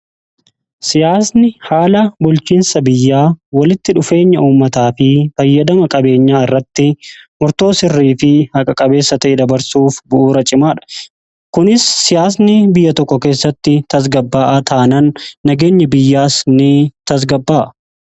Siyaasni haala bulchiinsa biyyaa walitti dhufeenya uummataa fi fayyadama qabeenyaa irratti murtoo sirrii fi haqa-qabeessa ta'e dabarsuuf bu'uura cimaaha kunis siyaasni biyya tokko keessatti tasgabbaa'aa taanan nagaenya biyyaas ni tasgabbaa'a.